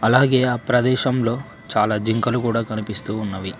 అలాగే ఆ ప్రదేశంలో చాలా జింకలు కూడా కనిపిస్తూ ఉన్నవి.